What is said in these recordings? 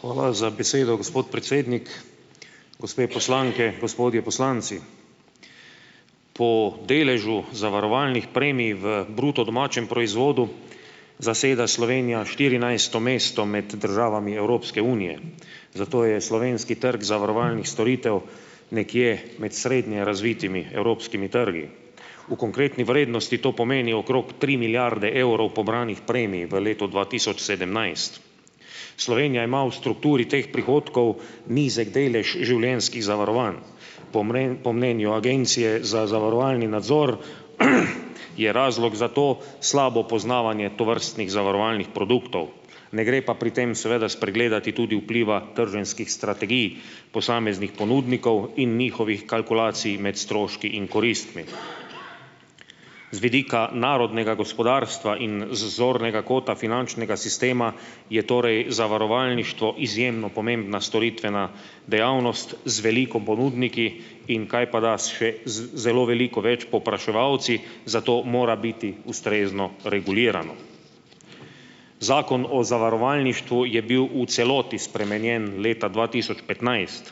Hvala za besedo, gospod predsednik. Gospe poslanke , gospodje poslanci. Po deležu zavarovalnih premij v bruto domačem proizvodu zaseda Slovenija štirinajsto mesto med državami Evropske unije. Zato je slovenski trg zavarovalnih storitev nekje med srednje razvitimi evropskimi trgi. V konkretni vrednosti to pomeni okrog tri milijarde evrov pobranih premij v letu dva tisoč sedemnajst. Slovenija ima v strukturi teh prihodkov nizek delež življenjskih zavarovanj. Po po mnenju Agencije za zavarovalni nadzor, je razlog za to slabo poznavanje tovrstnih zavarovalnih produktov. Ne gre pa pri tem seveda spregledati tudi vpliva trženjskih strategij posameznih ponudnikov in njihovih kalkulacij med stroški in koristmi. Z vidika narodnega gospodarstva in z zornega kota finančnega sistema, je torej zavarovalništvo izjemno pomembna storitvena dejavnost z veliko ponudniki in kajpada s še z zelo veliko več povpraševalci, zato mora biti ustrezno regulirano. Zakon o zavarovalništvu je bil v celoti spremenjen leta dva tisoč petnajst.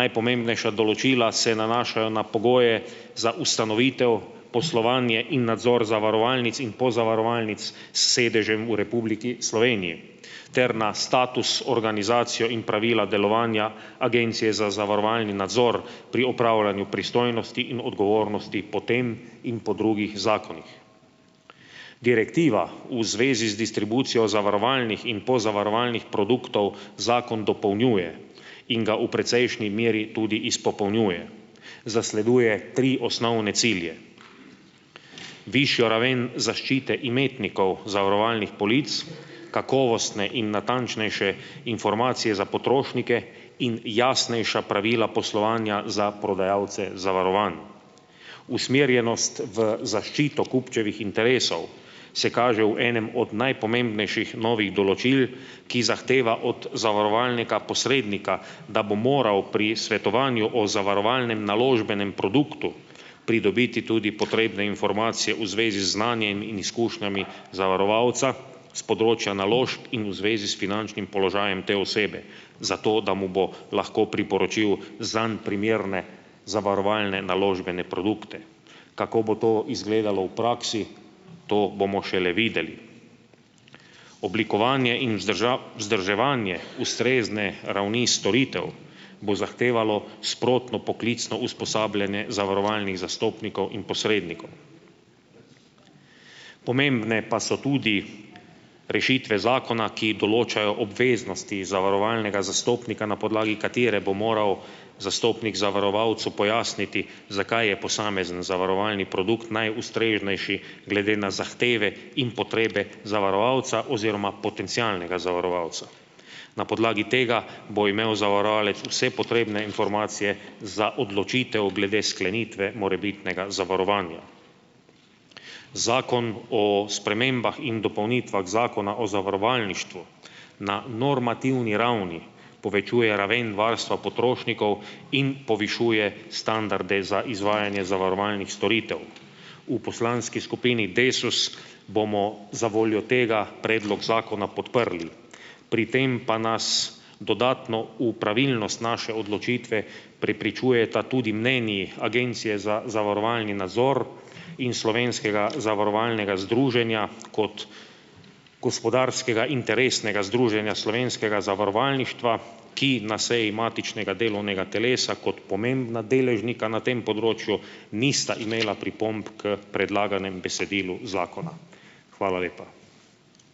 Najpomembnejša določila se nanašajo na pogoje za ustanovitev, poslovanje in nadzor zavarovalnic in pozavarovalnic s sedežem v Republiki Sloveniji. Ter na status, organizacijo in pravila delovanja Agencije za zavarovalni nadzor pri upravljanju pristojnosti in odgovornosti po tem in po drugih zakonih. Direktiva v zvezi z distribucijo zavarovalnih in pozavarovalnih produktov zakon dopolnjuje in ga v precejšni meri tudi izpopolnjuje. Zasleduje tri osnovne cilje: višjo raven zaščite imetnikov zavarovalnih polic, kakovostne in natančnejše informacije za potrošnike in jasnejša pravila poslovanja za prodajalce zavarovanj. Usmerjenost v zaščito kupčevih interesov se kaže v enem od najpomembnejših novih določil, ki zahteva od zavarovalnega posrednika, da bo moral pri svetovanju o zavarovalnem naložbenem produktu pridobiti tudi potrebne informacije v zvezi z znanjem in izkušnjami zavarovalca s področja naložb in v zvezi s finančnim položajem te osebe, zato da mu bo lahko priporočil zanj primerne zavarovalne naložbene produkte. Kako bo to izgledalo v praksi, to bomo šele videli. Oblikovanje in vzdrževanje ustrezne ravni storitev bo zahtevalo sprotno poklicno usposabljanje zavarovalnih zastopnikov in posrednikov. Pomembne pa so tudi rešitve zakona, ki določajo obveznosti zavarovalnega zastopnika, na podlagi katere bo moral zastopnik zavarovalcu pojasniti, zakaj je posamezen zavarovalni produkt najustreznejši glede na zahteve in potrebe zavarovalca oziroma potencialnega zavarovalca. Na podlagi tega bo imel zavarovalec vse potrebne informacije za odločitev glede sklenitve morebitnega zavarovanja. Zakon o spremembah in dopolnitvah Zakona o zavarovalništvu na normativni ravni povečuje raven varstva potrošnikov in povišuje standarde za izvajanje zavarovalnih storitev. V poslanski skupini Desus bomo zavoljo tega predlog zakona podprli . Pri tem pa nas dodatno v pravilnost naše odločitve prepričujeta tudi mnenji Agencije za zavarovalni nadzor in Slovenskega zavarovalnega združenja kot gospodarskega interesnega združenja slovenskega zavarovalništva, ki na seji matičnega delovnega telesa kot pomembna deležnika na tem področju nista imela pripomb k predlaganemu besedilu zakona. Hvala lepa.